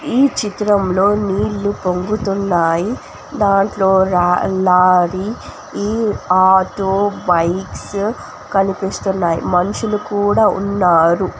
ఈ చిత్రంలొ నీళ్లు పొంగుతున్నాయి దాంట్లో రాళ్ళాది ఈ ఆటో బైక్స్ కనిపిస్తున్నాయ్ మనుషులు కూడ ఉన్నారు.